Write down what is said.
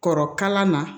Kɔrɔ kalan na